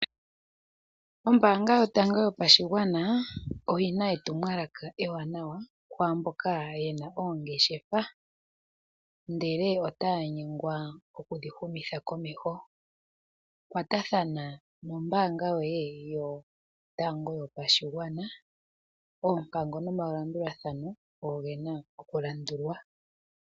Ombaanga yotango yopashigwana oyina etumwalaka ewanawa, kwaamboka yena oongeshefa ndele otaya nyengwa okudhi humitha komeho. Kwatathana nombaanga yoye yotango yopashigwana, oompango nomalandulathano ogena okulandulwa.